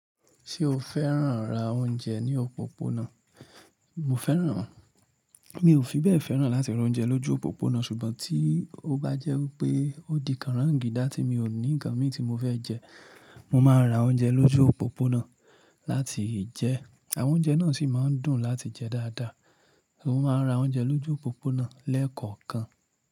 Ṣé o fẹ́ràn ra oúnjẹ ní òpópónà? Mo fẹ́ràn. Mi ò fi bẹ́ẹ̀ fẹ́ràn láti roúnjẹ lójú òpópónà, ṣùgbọ́n tí ó bá jẹ́ wípé ó di kànràngídá tí mi ò ní ǹkan mii tí mo fẹ́ jẹ, mo máa n ra oúnjẹ lójú òpópónà láti jẹ. Àwọn oúnjẹ náà sì máa ń dùn láti jẹ dáadáa. Mo máa n ra oúnjẹ lójú òpópónà lẹ́ẹ̀kọ̀okan.